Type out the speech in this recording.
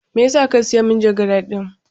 Me yasa ka siya manjagara din?